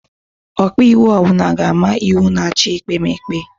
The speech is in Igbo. Ọkaiwu ọbula ga-ama iwu na-achị ekpemeke